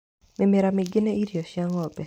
Mĩmera mĩingĩ nĩ irio cia ngo'mbe.